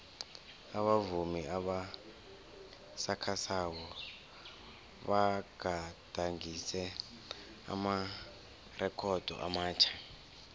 abavumi abasakhasako bagadangise amarekhodo amatjha